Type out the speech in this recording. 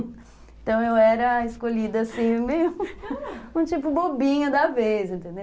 Então eu era a escolhida, assim meio um tipo bobinha da vez, entendeu?